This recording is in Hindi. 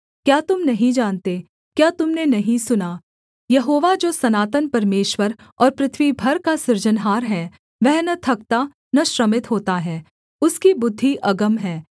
क्या तुम नहीं जानते क्या तुम ने नहीं सुना यहोवा जो सनातन परमेश्वर और पृथ्वी भर का सृजनहार है वह न थकता न श्रमित होता है उसकी बुद्धि अगम है